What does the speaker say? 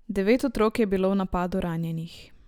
Devet otrok je bilo v napadu ranjenih.